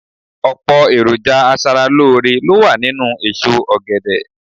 Ọ̀pọ̀ èròjà aṣaralóore ló wà nínú èso ọ̀gẹ̀dẹ̀